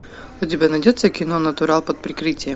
у тебя найдется кино натурал под прикрытием